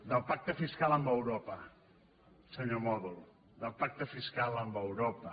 del pacte fiscal amb eu·ropa senyor mòdol del pacte fiscal amb europa